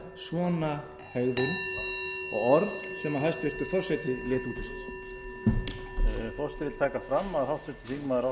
svona hegðun og orð sem hæstvirtur forseti lét út úr sér